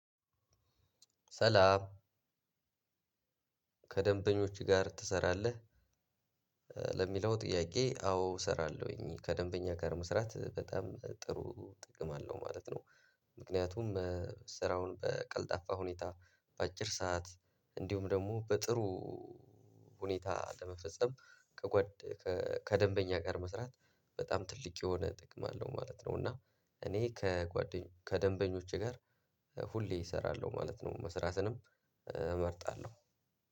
ሰላም። ከደንበኞች ጋር ትሰራለህ? ለሚለው ጥያቄ አዎ እሰራለሁኝ ከደንበኛ ጋር መስራት በጣም ጥሩ ጥቅም አለው ማለት ነው። ምክንያቱም ስራውን በቀልጣፋ ሁኔታ በአጭር ሰዓት እንዲሁም ደግሞ በጥሩ ሁኔታ ለመፈጸም። ከጓድ ከደንበኛ ጋር መስራት በጣም ትልቅ የሆነ ጥቅም አለው ማለት ነው። እና እኔ ከደምበኞቸ ጋር ሁሌ እሰራለሁ ማለት ነው። መስራትንም እመርጣለሁ።